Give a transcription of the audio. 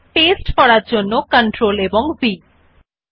we see that the word name gets pasted automatically